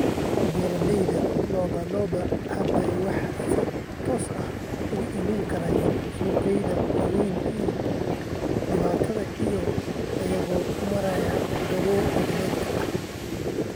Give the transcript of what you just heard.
Beeralayda lo'da lo'da hadda waxay si toos ah uga iibin karaan suuqyada waaweyn ee dibadda iyagoo u maraya goobo internetka ah.